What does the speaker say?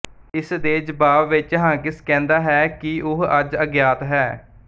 ਇਸ ਦੇ ਜਵਾਬ ਵਿੱਚ ਹਾਕਿੰਸ ਕਹਿੰਦਾ ਹੈ ਕਿ ਉਹ ਅੱਜ ਅਗਿਆਤ ਹੈ